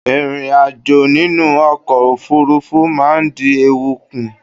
Ìrìn ajo nínú ọkọ̀ òfurufú ma n dí ewu kùn